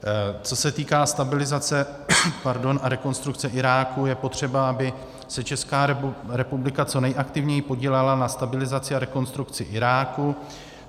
Co se týká stabilizace a rekonstrukce Iráku, je potřeba, aby se Česká republika co nejaktivněji podílela na stabilizaci a rekonstrukci Iráku.